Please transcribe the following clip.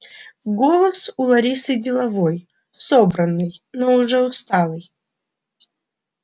голос у ларисы деловой собранный но уже усталый